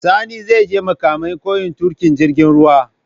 Sani zai je makamai koyan tuƙin jirgin ruwa